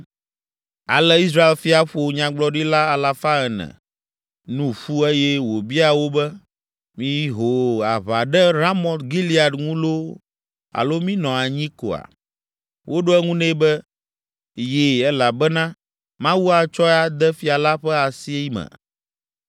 Ale Israel fia ƒo nyagblɔɖila alafa ene (400) nu ƒu eye wòbia wo be, “Mího aʋa ɖe Ramot Gilead ŋu loo alo mínɔ anyi koa?” Woɖo eŋu nɛ be, “Yi, elabena Mawu atsɔe ade fia la ƒe asi me.”